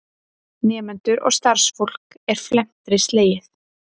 Nemendur og starfsfólk er felmtri slegið